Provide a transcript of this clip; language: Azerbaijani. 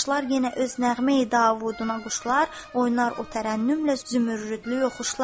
Başlar yenə öz nəğməyi davuduna quşlar, oynar o tərənnümlə zümrüdlü oxşar.